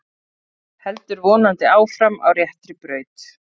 Heldur vonandi áfram á réttri braut